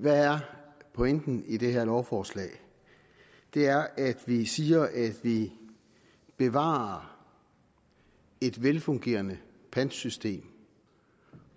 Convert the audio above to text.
hvad er pointen i det her lovforslag det er at vi siger at vi bevarer et velfungerende pantsystem